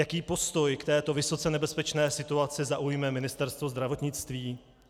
Jaký postoj k této vysoce nebezpečné situaci zaujme Ministerstvo zdravotnictví?